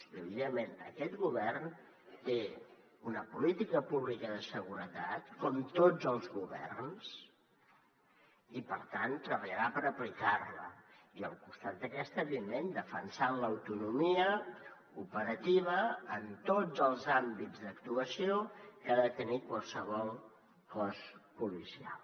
i evidentment aquest govern té una política pública de seguretat com tots els governs i per tant treballarà per aplicar la i al costat d’aquesta evidentment defensant l’autonomia operativa en tots els àmbits d’actuació que ha de tenir qualsevol cos policial